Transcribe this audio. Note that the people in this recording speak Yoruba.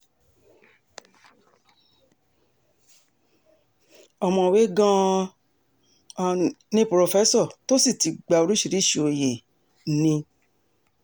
ọ̀mọ̀wé gan-an um ni purọ́fẹ́sọ tó sì ti gba oríṣiríṣii òye um ni